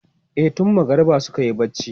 E, tun magariba suka yi barci.